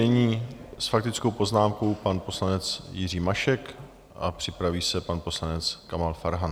Nyní s faktickou poznámkou pan poslanec Jiří Mašek a připraví se pan poslanec Kamal Farhan.